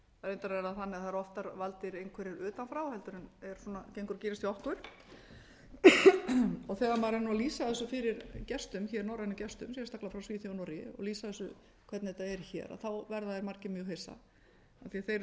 reyndar er það þannig að það eru oftar valdir einhverjir utan frá heldur en gengur og gerist hjá okkur þegar maður er að lýsa þessu fyrir gestum hér norrænum gestum sérstaklega frá svíþjóð og noregi og lýsa þessu hvernig þetta er hér verða þeir margir mjög hissa af því þeir eru svo